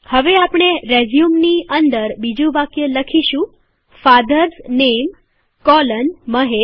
હવે આપણે રેઝયુમની અંદર બીજું વાક્ય લખીશું ફાધર્સ નેમ કોલન મહેશ